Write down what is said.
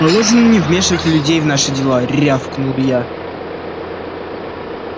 положено не вмешивать людей в наши дела рявкнул я